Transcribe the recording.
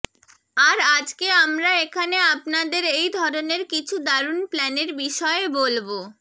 আর আজকে আমরা এখানে আপনাদের এই ধরনের কিছু দারুন প্ল্যানের বিষয়ে বলব